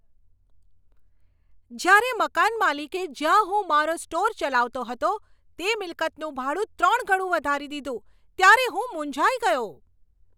જ્યારે મકાન માલિકે જ્યાં હું મારો સ્ટોર ચલાવતો હતો તે મિલકતનું ભાડું ત્રણ ગણું વધારી દીધું, ત્યારે હું મૂંઝાઈ ગયો.